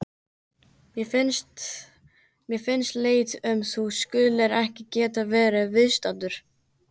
Mér finnst leitt að þú skulir ekki geta verið viðstaddur.